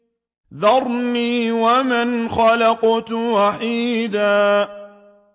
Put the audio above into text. ذَرْنِي وَمَنْ خَلَقْتُ وَحِيدًا